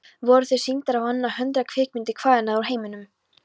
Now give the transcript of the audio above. Voru þar sýndar á annað hundrað kvikmyndir hvaðanæva úr heiminum.